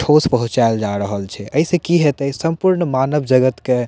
ठोस पहुंचाल जाय रहल छै ए से की हैते संपूर्ण मानव जगत के --